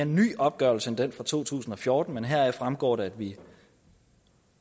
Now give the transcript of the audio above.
nyere opgørelse end den fra to tusind og fjorten men heraf fremgår det at vi